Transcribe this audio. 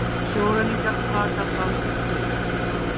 Sjóræningjar taka danskt skip